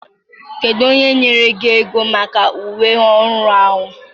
Kedu onye nyere gị ego maka uwe ọhụrụ ahụ?